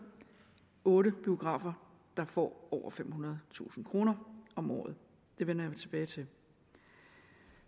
otte biografer der får over femhundredetusind kroner om året det vender jeg tilbage til